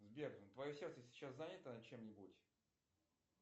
сбер твое сердце сейчас занято чем нибудь